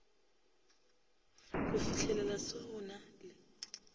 go fihelela se go na